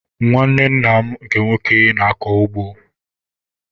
Nwanne nna m nke nwoke na-akọ ugbo.